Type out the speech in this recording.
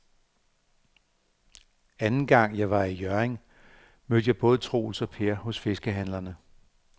Anden gang jeg var i Hjørring, mødte jeg både Troels og Per hos fiskehandlerne.